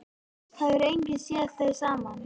Það hefur enginn séð þau saman.